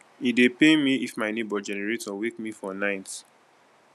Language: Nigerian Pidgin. e dey pain me if my nebor generator wake me for night